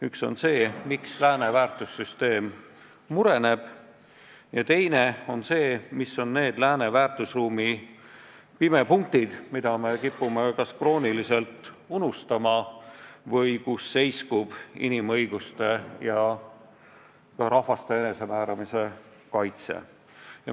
Üks on see, miks lääne väärtussüsteem mureneb, ja teine on see, mis on need lääne väärtusruumi pimepunktid, mida me kipume kas krooniliselt unustama või kus seiskub inimõiguste ja rahvaste enesemääramise õiguse kaitse.